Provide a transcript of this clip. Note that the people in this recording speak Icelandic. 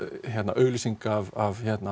auglýsingar af